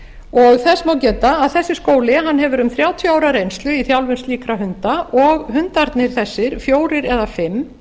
og þess má geta að þessi skóli hefur um þrjátíu ára reynslu í þjálfun slíkra hunda og hundarnir þessir fjórir eða fimm